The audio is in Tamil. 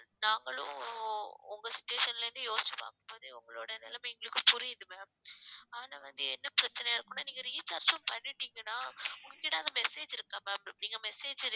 நாங்களும் உங்க situation ல இருந்து யோசிச்சு பார்க்கும் போது உங்களோட நிலைமை எங்களுக்கு புரியுது ma'am ஆனா வந்து என்ன பிரச்சனையா இருக்கும்ன்னா நீங்க recharge பண்ணிட்டீங்கன்னா உங்ககிட்ட அந்த message இருக்கா ma'am நீங்க message அ